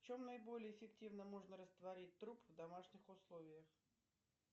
в чем наиболее эффективно можно растворить труп в домашних условиях